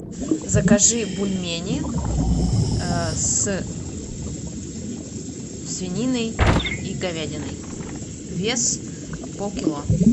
закажи бульмени с свининой и говядиной вес полкило